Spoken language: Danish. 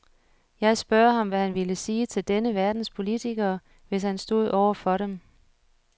Jeg spørger ham, hvad han ville sige til denne verdens politikere, hvis han stod over for dem.